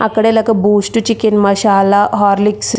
అక్కడ ఈళ్లకి Boost chicken masala Horlicks --